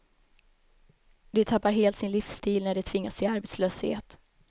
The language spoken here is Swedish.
De tappar helt sin livsstil när de tvingas till arbetslöshet.